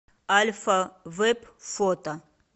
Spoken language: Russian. альфа вэп фото